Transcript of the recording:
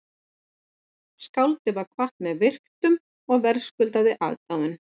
Skáldið var kvatt með virktum og verðskuldaðri aðdáun